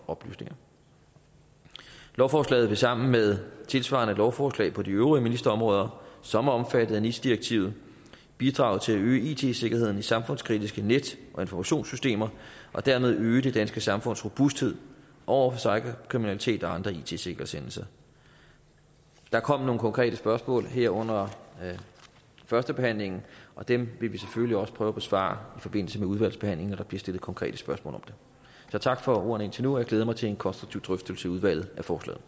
oplysninger lovforslaget vil sammen med tilsvarende lovforslag på de øvrige ministerområder som er omfattet af nis direktivet bidrage til at øge it sikkerheden i samfundskritiske net og informationssystemer og dermed øge det danske samfunds robusthed over for cyberkriminalitet og andre it sikkerhedshændelser der kom nogle konkrete spørgsmål her under førstebehandlingen og dem vil vi selvfølgelig også prøve at besvare i forbindelse med udvalgsbehandlingen når der bliver stillet konkrete spørgsmål om det så tak for ordene indtil nu og jeg glæder mig til en konstruktiv drøftelse i udvalget af forslaget